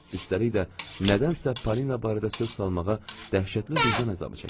Üstəlik də nədənsə Paulina barədə söz salmağa dəhşətli vicdan əzabı çəkirdim.